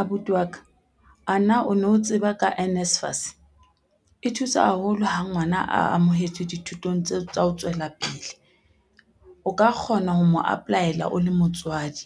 Abuti wa ka, ana o no tseba ka NSFAS. E thusa haholo ha ngwana a amohetswe dithutong tseo tsa ho tswela pele. O ka kgona ho mo apply-ela o le motswadi,